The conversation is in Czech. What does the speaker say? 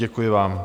Děkuji vám.